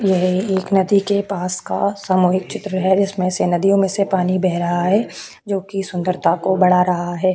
यह एक नदी के पास का सामुहिक चित्र है जिसमे से नदी में से पानी बेह रहा है जो की सुंदरता को बढ़ा रहा है।